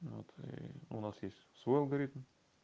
но ты у нас есть свой алгоритм